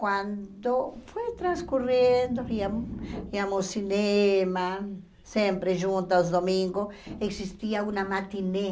Quando foi transcorrendo, íamos íamos ao cinema, sempre juntas, domingo, existia uma matinê.